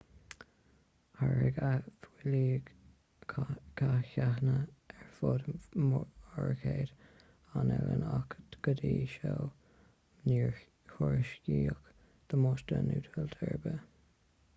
tháirg a fuílligh ceathanna ar fud mórchuid an oileáin ach go dtí seo níor thuairiscíodh damáiste nó tuilte ar bith